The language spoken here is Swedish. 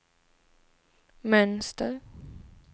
mönster